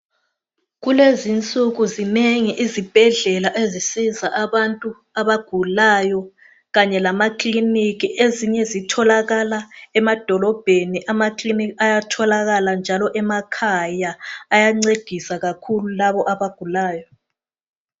Kulezi insuku zinengi izibhedlela ezisiza abantu abagulayo kanye lamakliniki ezinye zitholakala emadolobheni amaklinika ayatholakala njalo emakhaya ayancedisa kakhulu laba abagulayo.